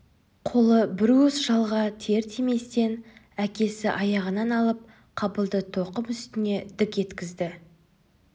қолы бір уыс жалға тиер-тиместен әкесі аяғынан алып қабылды тоқым үстіне дік еткізді